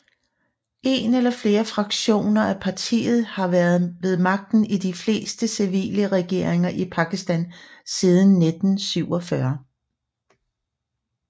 En eller flere fraktioner af partiet har været ved magten i de fleste civile regeringer i Pakistan siden 1947